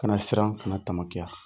Kana siran, kana tamakiya!